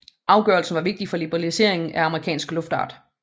Afgørelsen var vigtig for liberaliseringen af amerikansk luftfart